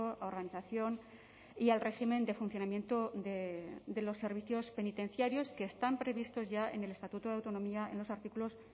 a organización y al régimen de funcionamiento de los servicios penitenciarios que están previstos ya en el estatuto de autonomía en los artículos